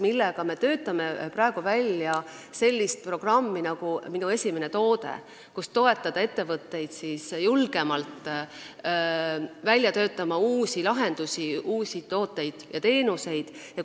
Sellega me töötame praegu välja sellist programmi nagu "Minu esimene toode", et toetada ettevõtteid julgemalt välja töötama uusi lahendusi, uusi tooteid ja teenuseid.